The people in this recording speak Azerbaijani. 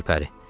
Gülpəri.